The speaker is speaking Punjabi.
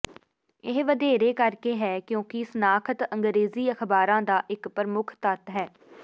ਇਹ ਵਧੇਰੇ ਕਰਕੇ ਹੈ ਕਿਉਂਕਿ ਸ਼ਨਾਖਤ ਅੰਗਰੇਜ਼ੀ ਅਖ਼ਬਾਰਾਂ ਦਾ ਇਕ ਪ੍ਰਮੁੱਖ ਤੱਤ ਹੈ